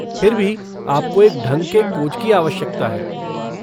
फिर भी आपको एक ढंग के कोच की आवश्यकता है।